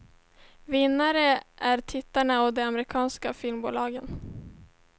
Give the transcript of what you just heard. Vinnare är tittarna och de amerikanska filmbolagen.